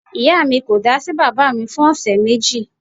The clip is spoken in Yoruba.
Ìyá mi ko da sí baba mi fún ọ̀sẹ̀ méjì